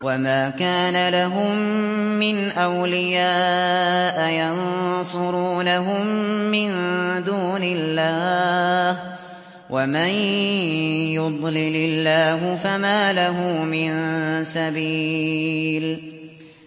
وَمَا كَانَ لَهُم مِّنْ أَوْلِيَاءَ يَنصُرُونَهُم مِّن دُونِ اللَّهِ ۗ وَمَن يُضْلِلِ اللَّهُ فَمَا لَهُ مِن سَبِيلٍ